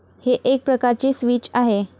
हे एक प्रकारचे स्विच आहे.